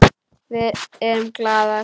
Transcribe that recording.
Við erum glaðar.